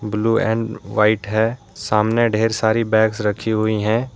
Blue and white हैं सामने ढेर सारी बैग्स रखी हुई हैं।